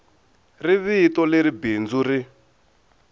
ri vito leri bindzu ri